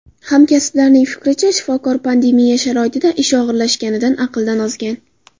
Hamkasblarining fikricha, shifokor pandemiya sharoitida ish og‘irlashganidan aqldan ozgan.